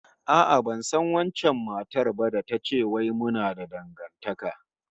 A'a, ban san wancan matar ba da ta ce wai muna da dangantaka